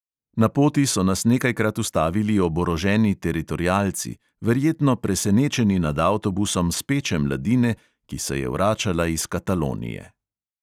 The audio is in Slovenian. Na poti so nas nekajkrat ustavili oboroženi teritorialci, verjetno presenečeni nad avtobusom speče mladine, ki se je vračala iz katalonije.